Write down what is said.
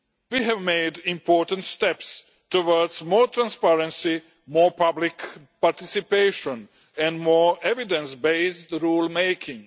We have made important steps towards more transparency, more public participation and more evidence-based rule-making.